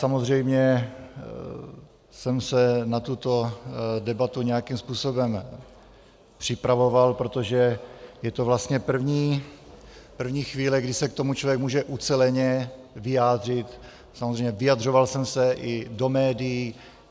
Samozřejmě jsem se na tuto debatu nějakým způsobem připravoval, protože je to vlastně první chvíle, kdy se k tomu člověk může uceleně vyjádřit, samozřejmě, vyjadřoval jsem se i do médií.